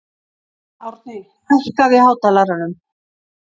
Árni, hækkaðu í hátalaranum.